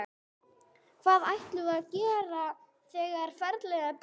Hvað ætlarðu að gera þegar ferillinn er búinn?